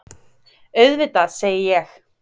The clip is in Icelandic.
Auðvitað, segi ég.